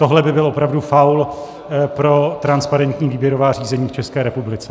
Tohle by byl opravdu faul pro transparentní výběrová řízení v České republice.